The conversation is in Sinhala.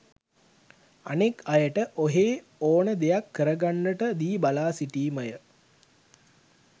අනෙක් අයට ඔහේ ඕන දෙයක් කරගන්නට දී බලා සිටීමය.